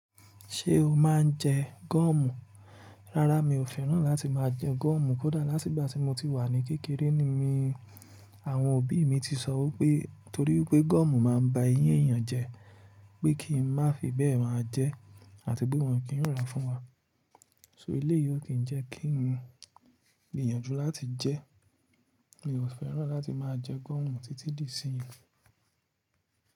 Ṣé o máa ń jẹ goọ̀mù? Rárá, mi ò fẹ́ràn láti máa jẹ goọ̀mù kódà láti ìgbà tí mo ti wà ní kékeré ni mí. Àwọn òbí mi ti sọ wipé torí wipé goọ̀mù máa ń ba eyín èèyàn jẹ́, pé kí n má fi bẹ́ẹ̀ máa jẹ́ àti pé wọ́n o kìn rá fún wa. So eléyìí ó kì n jẹ́ kí n gbìyànjú láti jẹ́ è mi ò fẹ́ràn láti máa jẹ goọ̀mù títí di ìsìnyín.